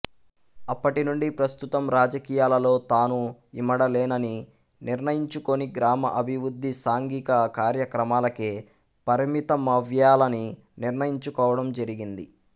అప్పటినుండి ప్రస్తుతం రాజకీయాలలో తాను ఇమడలేనని నిర్ణయించుకొని గ్రామ అభివృద్ధి సాంఘిక కార్యక్రమాలకే పరిమితమవ్యాలని నిర్ణయించుకోవడం జరిగింది